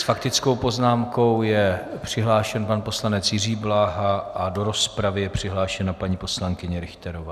S faktickou poznámkou je přihlášen pan poslanec Jiří Bláha a do rozpravy je přihlášena paní poslankyně Richterová.